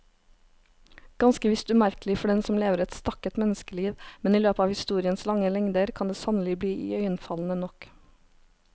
Ganske visst umerkelig for den som lever et stakket menneskeliv, men i løpet av historiens lange lengder kan det sannelig bli iøynefallende nok.